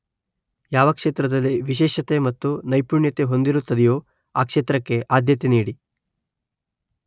ಯಾವ ಕ್ಷೇತ್ರದಲ್ಲಿ ವಿಶೇಷತೆ ಮತ್ತು ನೈಪುಣ್ಯತೆ ಹೊಂದಿರುತ್ತದೆಯೋ ಆ ಕ್ಷೇತ್ರಕ್ಕೆ ಆದ್ಯತೆ ನೀಡಿ